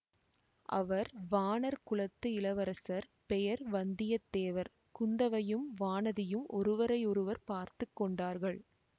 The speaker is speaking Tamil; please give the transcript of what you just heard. அவர் வாணர் குலத்து இளவரசர் பெயர் வந்தியத்தேவர் குந்தவையும் வானதியும் ஒருவரையொருவர் பார்த்து கொண்டார்கள்